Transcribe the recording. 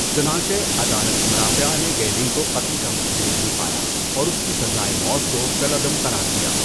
چنانچہ، عدالت مرافعہ نے گیلنگ کو قتل کا مجرم نہیں پایا اور اس کی سزائے موت کو کالعدم قرار دیا۔